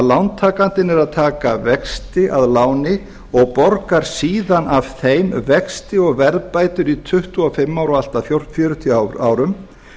lántakandinn er að taka vexti af láni og borgar síðan af þeim vexti og verðbætur í tuttugu og fimm ár og allt að fjörutíu árum